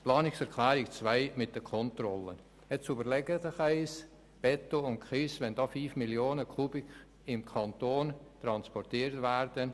Zur Planungserklärung 2 mit der Kontrolle: Überlegen Sie sich einmal, dass 5 Mio. Kubikmeter Beton und Kies im Kanton transportiert werden.